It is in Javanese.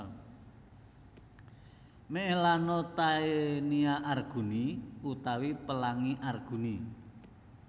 Melanotaenia arguni utawi Pelangi Arguni